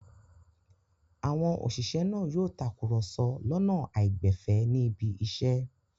Àwọn òṣìṣẹ́ náà yóò takùrọ̀sọ lọ́nà àìgbẹ̀fẹ̀ níbi iṣẹ́.